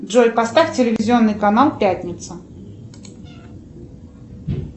джой поставь телевизионный канал пятница